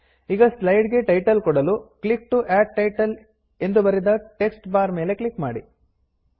ಈಗ ಸ್ಲೈಡ್ ಗೆ ಟೈಟಲ್ ಕೊಡಲು ಕ್ಲಿಕ್ ಟಿಒ ಅಡ್ ಟೈಟಲ್ ಎಂದು ಬರೆದ ಟೆಕ್ಸ್ಟ್ ಬಾರ್ ಮೇಲೆ ಕ್ಲಿಕ್ ಮಾಡಿ